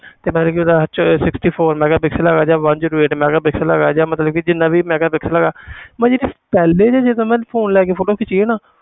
ਤੇ ਮਤਲਬ ਉਹਦੇ ਵਿੱਚ sixty four megapixel ਹੈਗਾ ਜਾਂ one zero eight megapixel ਹੈਗਾ ਜਾਂ ਮਤਲਬ ਕਿ ਜਿੰਨਾ ਵੀ megapixel ਹੈਗਾ ਮੈਂ ਜਿਹੜੀ ਪਹਿਲੇ ਜਿਹੇ ਜਦੋਂ ਮੈਂ phone ਲੈ ਕੇ photo ਖਿੱਚੀ ਸੀ ਨਾ